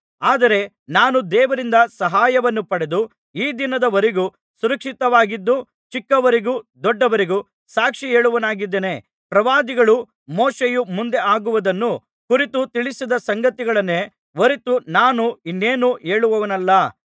ಆದರೆ ನಾನು ದೇವರಿಂದ ಸಹಾಯವನ್ನು ಪಡೆದು ಈ ದಿನದವರೆಗೂ ಸುರಕ್ಷಿತವಾಗಿದ್ದು ಚಿಕ್ಕವರಿಗೂ ದೊಡ್ಡವರಿಗೂ ಸಾಕ್ಷಿಹೇಳುವವನಾಗಿದ್ದೇನೆ ಪ್ರವಾದಿಗಳೂ ಮೋಶೆಯೂ ಮುಂದೆ ಆಗುವುದನ್ನು ಕುರಿತು ತಿಳಿಸಿದ ಸಂಗತಿಗಳನ್ನೇ ಹೊರತು ನಾನು ಇನ್ನೇನೂ ಹೇಳುವವನಲ್ಲ